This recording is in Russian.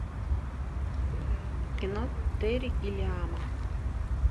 кино терри гиллиама